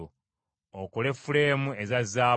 Okole fuleemu eza zaabu,